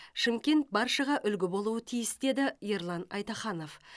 шымкент баршаға үлгі болуы тиіс деді ерлан айтаханов